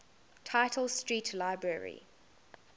tite street library